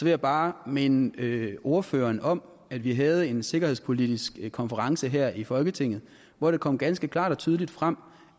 jeg bare minde ordføreren om at vi havde en sikkerhedspolitisk konference her i folketinget hvor det kom ganske klart og tydeligt frem